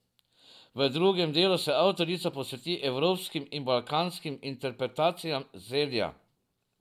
V drugem delu se avtorica posveti evropskim in balkanskim interpretacijam zelja.